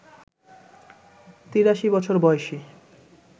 ৮৩ বছর বয়সী